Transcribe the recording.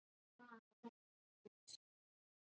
Þeim leið svo vel hjá þér.